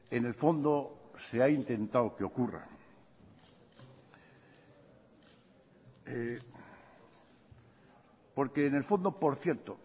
en el fondo se ha intentado que ocurra porque en el fondo por cierto